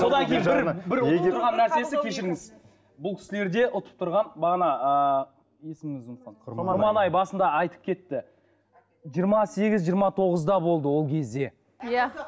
содан кейін бір бір ұтып тұрған нәрсесі кешіріңіз бұл кісілерде ұтып тұрған бағана ыыы құрманай басында айтып кетті жиырма сегіз жиырма тоғызда болды ол кезде иә